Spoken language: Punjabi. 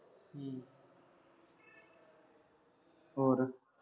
ਹੋਰ